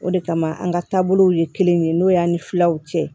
O de kama an ka taabolow ye kelen ye n'o y'an ni filaw cɛ